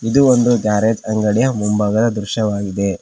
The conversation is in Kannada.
ಇದು ಒಂದು ಗ್ಯಾರೇಜ್ ಅಂಗಡಿಯ ಮುಂಭಾಗದ ದೃಶ್ಯವಾಗಿದೆ.